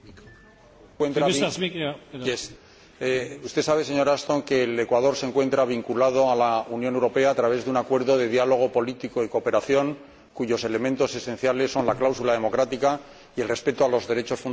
Usted sabe, señora Ashton, que el Ecuador se encuentra vinculado a la Unión Europea a través de un Acuerdo de diálogo político y cooperación cuyos elementos esenciales son la cláusula democrática y el respeto de los derechos fundamentales, entre los que se encuentra el derecho a la libertad de expresión.